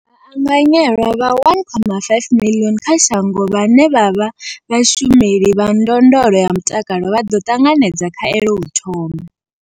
Vhaanganyelwa vha 1.25 miḽioni kha shango vhane vha vha vhashumeli vha ndondolo ya mutakalo vha ḓo ṱanganedza khaelo u thoma.